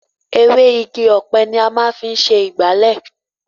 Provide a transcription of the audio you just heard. Ewé Igi ọ̀pẹ ni a máa ń fi ṣe ìgbálẹ̀.